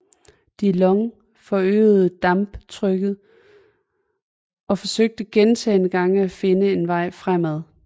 De Long forøgede damptrykket og forsøgte gentagne gange at finde en vej fremad